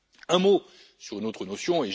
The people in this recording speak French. là. Un mot sur une autre notion.